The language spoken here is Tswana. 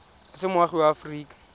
o se moagi wa aforika